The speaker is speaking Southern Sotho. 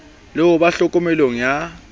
le ho ba tlhokomelong ya